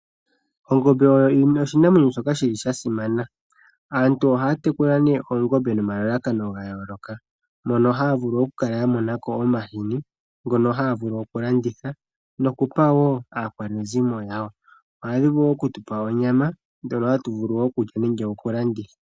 Ongombe oyo oshinamwenyo shoka shi li sha simana. Aantu ohaya munu oongombe nomalalakano ga yooloka. Mono haya vulu okukala ya mona ko omahini ngono haya vulu okulanditha nokupa wo aakwanezimo yawo. Ohadhi vulu wo okutupa onyama ndjono hatu vulu okulya nenge okulanditha.